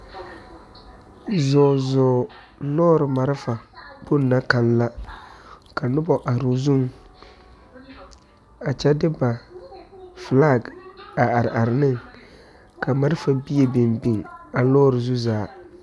Zɔɔ zɔɔ lɔɔre malfa kpoŋ na kaŋ la ka nobɔ aroo zuŋ a kyɛ de ba flak a are are ne ka malfa bie biŋ biŋ a lɔɔre zi zaa.